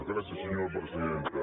gràcies senyora presidenta